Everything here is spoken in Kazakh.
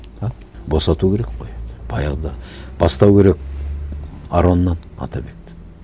а босату керек қой баяғыда бастау керек ароннан атабекті